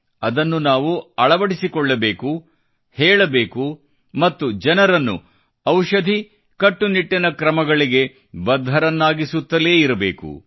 ಅದನ್ನು ನಾವು ಅಳವಡಿಸಿಕೊಳ್ಳಬೇಕು ಹೇಳಬೇಕು ಮತ್ತು ಜನರನ್ನು ಔಷಧಿಕಟ್ಟುನಿಟ್ಟಿನ ಕ್ರಮಗಳಿಗೆಬದ್ಧರನ್ನಾಗಿಸುತ್ತಲೇ ಇರಬೇಕು